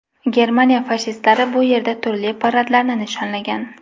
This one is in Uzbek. Germaniya fashistlari bu yerda turli paradlarni nishonlagan.